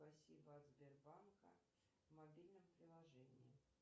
спасибо от сбербанка в мобильном приложении